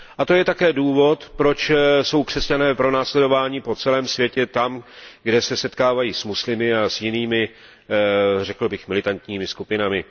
A to je také důvod, proč jsou křesťané pronásledováni po celém světě tam, kde se setkávají s muslimy a s jinými, řekl bych militantními skupinami.